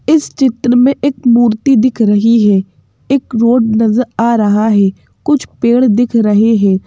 इस चित्र में एक मूर्ति दिख रही है एक रोड नज़र आ रहा है कुछ पेड़ दिख रहे हैं।